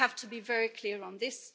We have to be very clear on this.